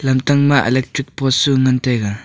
lamtang ma electric post chu ngan taiga.